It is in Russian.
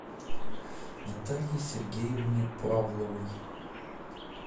наталье сергеевне павловой